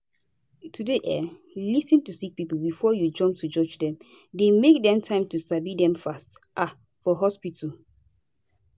to dey um lis ten to sick pipo before u jump to judge dem dey make dem time to sabi dem fast um for hospitu